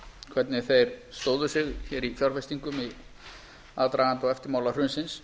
hvernig þeir stóðu sig hér í fjárfestingum í aðdraganda og eftirmála hrunsins